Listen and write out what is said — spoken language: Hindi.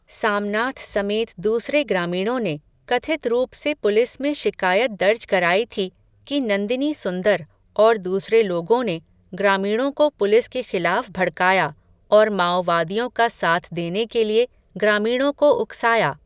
सामनाथ समेत दूसरे ग्रामीणों ने, कथित रूप से पुलिस में शिकायत दर्ज कराई थी, कि नंदिनी सुंदर, और दूसरे लोगों ने, ग्रामीणों को पुलिस के ख़िलाफ़ भड़काया, और माओवादियों का साथ देने के लिए, ग्रामीणों को उकसाया.